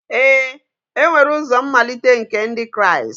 Ee e nwere ụzọ mmalite nke Ndị Kraịst